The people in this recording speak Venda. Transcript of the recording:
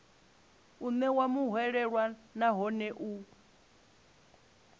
u ṋewa muhwelelwa nahone u